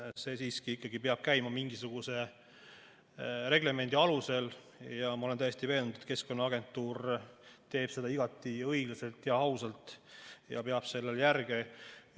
See ikkagi peab käima mingisuguse reglemendi alusel ja ma olen täiesti veendunud, et Keskkonnaagentuur teeb seda igati õiglaselt ja ausalt ja peab järge.